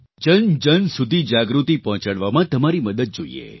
જનજન સુધી જાગૃતિ પહોંચાડવામાં તમારી મદદ જોઈએ